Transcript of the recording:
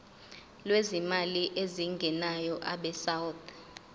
lwezimali ezingenayo abesouth